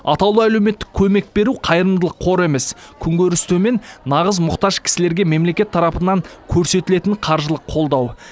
атаулы әлеуметтік көмек беру қайырымдылық қоры емес күн көріс төмен нағыз мұқтаж кісілерге мемлекет тарапынан көрсетілетін қаржылық қолдау